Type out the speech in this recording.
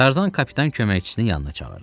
Tarzan kapitan köməkçisini yanına çağırdı.